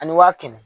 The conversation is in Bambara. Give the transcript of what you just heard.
Ani waa kɛmɛ